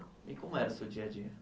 E como era o seu dia a dia?